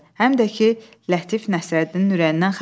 Həm də ki, Lətif Nəsrəddinin ürəyindən xəbər verdi.